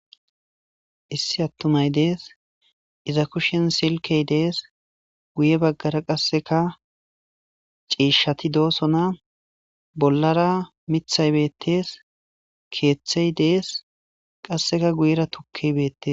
Issi attumay dees iza kushen silkey dees guye baggara qasseka ciishshati do'osona bollara mithay beettees keeththey dees qasseka guyera tukkey beettes